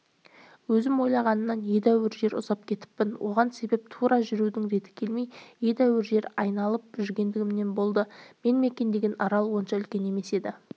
өзім ойлағанымнан едәуір жер ұзап кетіппін оған себеп тура жүрудің реті келмей едәуір жер айналып жүргендігімнен болды мен мекендеген арал онша үлкен емес еді